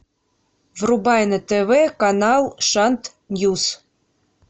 врубай на тв канал шант ньюс